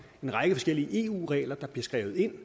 en række forskellige eu regler der bliver skrevet ind